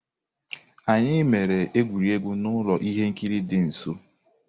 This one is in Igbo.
Anyị emere egwuregwu n'ụlọ ihe nkiri dị nso.